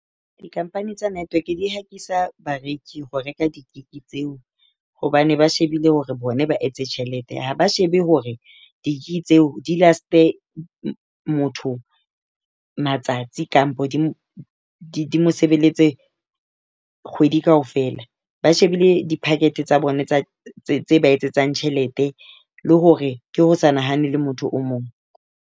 Di-company tsa network di hatisa bareki ho reka di-gig tseo hobane ba shebile hore bona ba etse tjhelete, ha ba shebe hore di-gig ke tseo di last-e motho matsatsi kapa di mosebeletse kgwedi kaofela. Ba shebile di-packet tsa bona tse ba etsetsang tjhelete le hore ke ho sa nahanele motho o mong.